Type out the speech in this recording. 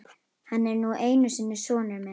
Hann er nú einu sinni sonur minn.